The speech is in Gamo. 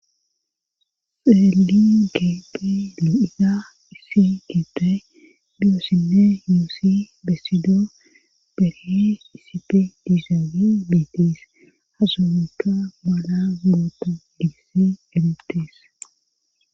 Elingepe di'iya isi gite diyoossine yioossi bessido berhe isipe diizawe betees hasumika mala goota giise elebtees.